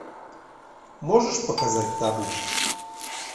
можешь показать табу